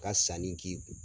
Ka sanni k'i kun.